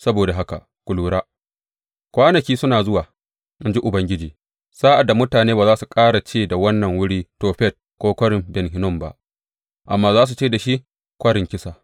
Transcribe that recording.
Saboda haka ku lura, kwanaki suna zuwa, in ji Ubangiji, sa’ad da mutane ba za su ƙara ce da wannan wuri Tofet ko Kwarin Ben Hinnom ba, amma za su ce da shi Kwarin Kisa.